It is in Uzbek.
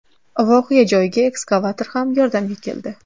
Voqea joyiga ekskavator ham yordamga keldi.